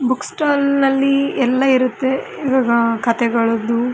Books stall ನಲ್ಲಿ ಎಲ್ಲ ಇರುತ್ತೆ ಇವಾಗ ಕಥೆಗಳದ್ದು.